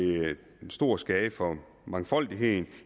stor skade for mangfoldigheden